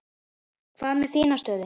Hvað með þína stöðu?